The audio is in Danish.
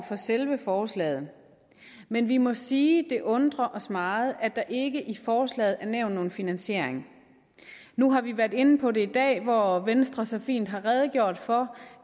for selve forslaget men vi må sige at det undrer os meget at der ikke i forslaget er nævnt nogen finansiering nu har vi været inde på det i dag hvor venstre så fint har redegjort for